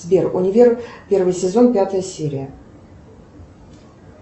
сбер универ первый сезон пятая серия